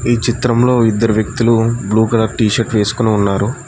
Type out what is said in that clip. ఈ చిత్రంలో ఇద్దరు వ్యక్తులు బ్లూ కలర్ టీషర్ట్ వేసుకొని ఉన్నారు.